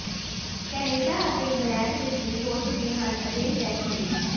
Canada ਅਤੇ England ਵਿਚ ਵੀ ਹੋ ਚੁੱਕੇ ਹਨ ਅਜਿਹੇ ਫੈਸਲੇ